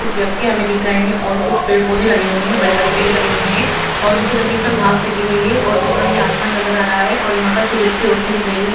कुछ व्यक्ति हमें दिख रहे है और कुछ पेड़ पौधे लगे हुए है बड़े-बड़े पेड़ पौधे लगे हुए है और नीचे जमीन पर घास लगी हुई है और ऊपर हमें आसमान नजर आ रहा है और यहां पर सूरज की रोशनी दिख रही है।